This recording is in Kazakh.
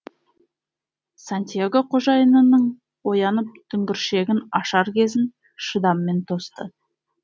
сантьяго қожайынының оянып дүңгіршегін ашар кезін шыдаммен тосты